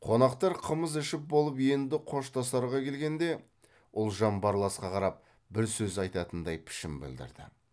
қонақтар қымыз ішіп болып енді қоштасарға келгенде ұлжан барласқа қарап бір сөз айтатындай пішін білдірді